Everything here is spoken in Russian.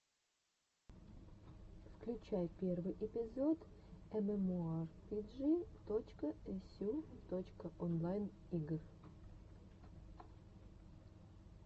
включай первый эпизод эмэмоарпиджи точка эсю точка онлайн игр